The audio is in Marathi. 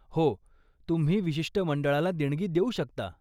हो, तुम्ही विशिष्ट मंडळाला देणगी देऊ शकता.